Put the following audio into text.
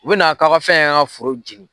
U bɛna kaw ka fɛnkɛ k'an foro jɛnin.